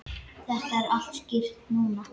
Þetta er allt skýrt núna.